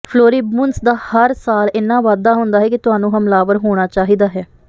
floribundas ਦਾ ਹਰ ਸਾਲ ਇੰਨਾ ਵਾਧਾ ਹੁੰਦਾ ਹੈ ਕਿ ਤੁਹਾਨੂੰ ਹਮਲਾਵਰ ਹੋਣਾ ਚਾਹੀਦਾ ਹੈ